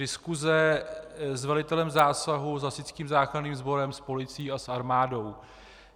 Diskuse s velitelem zásahu, s hasičským záchranným sborem, s policií a s armádou.